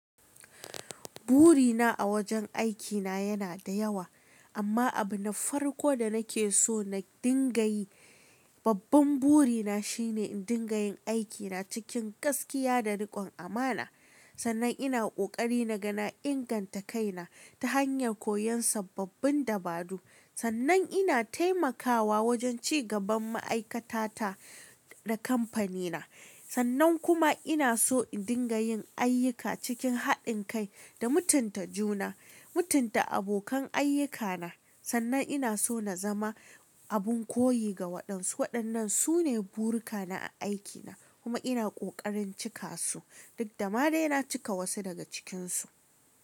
Burina a wajen aikina yana da yawa, amma abu na farko da nake so na dinga yi, babban burina shine in dinga yin aikina cikin gaskiya da rikon amana. Sannan ina ƙoƙari naga na ingantakaina ta hanyar koyon sababbin dabaru. Sannan ina taimakawa wajen ci gaban ma'aikata ta da kamfanina. Sannan kuma ina so in dinga yin ayyuka cikin haɗin kai da mutunta juna, mutunta abokan ayyukana. Sannan ina so na zama abin koyi ga waɗansu. Waɗannan su ne burikana a aikina kuma ina ƙoƙarin cika su. Dukdama dai na cika wasu daga cikinsu.